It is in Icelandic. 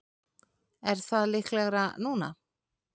Er það líklegra núna?